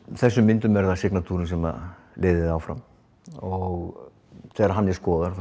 þessum myndum er það sem leiðir þig áfram og þegar hún er skoðuð